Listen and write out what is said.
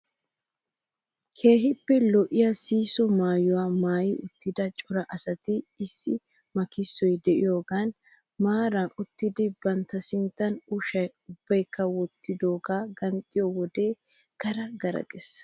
Keehippe lo"iyaa sihisso maayuwaa maayi uttida cora asati issi makissoy de'iyaagan maarara uttidi bantta sinttan ushshaa ubbaykka wottidoogee ganxxiyoo wode gara gara ges!